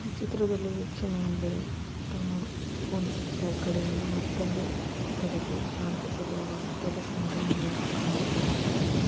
ಚಿತ್ರದಲ್ಲಿ ವೀಕ್ಷಣೆ ಎಂದರೆ ತಮ್ಮ ಒಂದು ಕಡೆಯಿಂದ ಮತ್ತೊಂದು ಕಡೆಗೆ ಶಾಂತ ಸ್ವಭಾವ ಟೆರೆಸ್ ನಿಂದ ನೋಡುವಾಗ ಕಾಣುವಂತ ದೃಶ್ಯ.